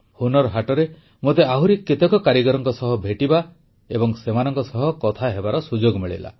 ହୁନର୍ ହାଟରେ ମୋତେ ଆହୁରି କେତେକ କାରିଗରଙ୍କ ସହ ଭେଟିବା ଏବଂ ସେମାନଙ୍କ ସହ କଥା ହେବାର ସୁଯୋଗ ମିଳିଲା